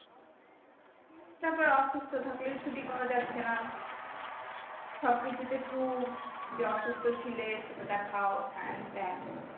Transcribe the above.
তারপর অসুস্থ থাকলেও ছুটি পাওয়া যাচ্ছে না সবকিছুতে proof তো যে অসুস্থ ছিলে সেটা দেখাও হ্যান ত্যান,